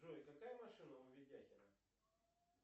джой какая машина у ведяхина